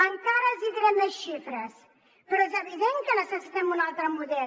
encara els diré més xifres però és evident que necessitem un altre model